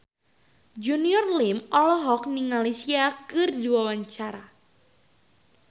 Junior Liem olohok ningali Sia keur diwawancara